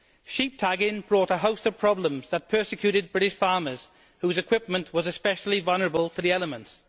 Sheep tagging brought a host of problems that persecuted British farmers whose equipment was especially vulnerable to the elements.